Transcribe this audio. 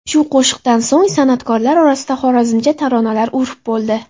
Shu qo‘shiqdan so‘ng san’atkorlar orasida xorazmcha taronalar urf bo‘ldi.